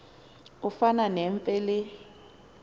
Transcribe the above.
efana nemfe le